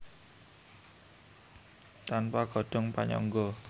Tanpa godhong panyangga